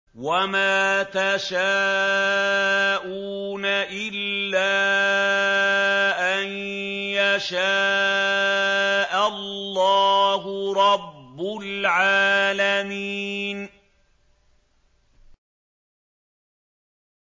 وَمَا تَشَاءُونَ إِلَّا أَن يَشَاءَ اللَّهُ رَبُّ الْعَالَمِينَ